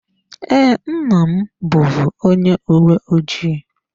Ee, nna m bụvu onye uwe ojii.